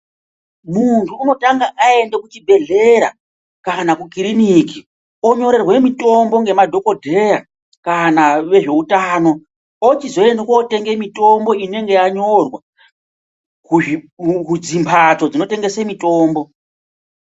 Muntu unotanga aenda kuchibhedhlera kana kukiriniki onyorerwe mitombo ngemadhokodheya kana vezveutano ochizoende kotenga mitombo inonga yanyorwa kumbatso dzinotengese mitombo.